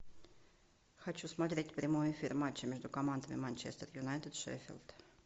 хочу смотреть прямой эфир матча между командами манчестер юнайтед шеффилд